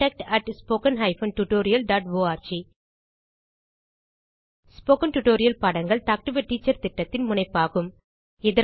contact at spoken hyphen tutorial dot org spoken tutorial பாடங்கள் talk to a teacher திட்டத்தின் முனைப்பாகும்